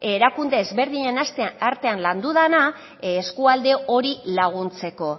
erakunde ezberdinen artean landu dena eskualde hori laguntzeko